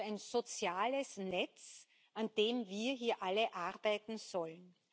Also ein soziales Netz, an dem wir hier alle arbeiten sollen.